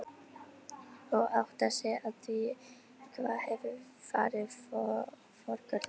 Og áttar sig á því hvað hefur farið forgörðum.